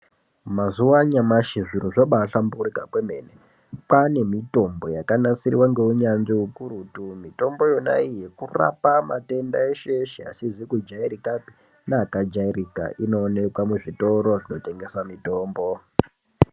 Mazuwa anyamashi zviro zvabahlamburika kwemene. Kwane mitombo yakanasirwa ngeunyanzvi ukurutu. Mitombo iyonayo kurapa matenda eshe eshe asizi kujairikapi neakajairika. Inoonekwa muzvitoro zvinotengesa mitombo.